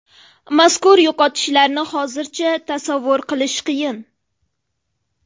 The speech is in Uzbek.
Mazkur yo‘qotishlarni hozircha tasavvur qilish qiyin.